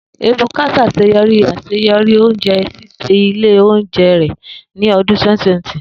Ebuka ṣaṣeyọri aṣeyọri ounjẹ, ṣiṣi ile ounjẹ rẹ ni ọdun 2020.